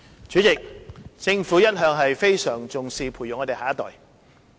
主席，政府一向非常重視培育我們的下一代。